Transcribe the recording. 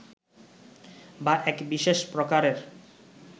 বা এক বিশেষ প্রকারের